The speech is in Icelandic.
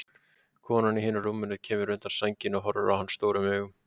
Konan í hinu rúminu kemur undan sænginni og horfir á hann stórum augum.